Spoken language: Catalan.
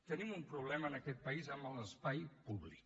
tenim un problema en aquest país amb l’espai públic